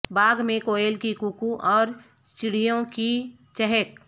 باغ میں کویل کی کوکو اور چڑیوں کی چہک